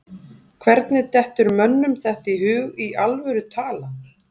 Hvernig dettur mönnum þetta í hug í alvöru talað?